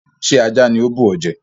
Ṣé ajá ni ó bù ọ jẹ?